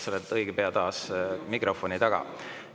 Sa oled õige pea taas mikrofoni taga.